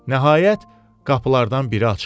Nəhayət, qapılardan biri açıldı.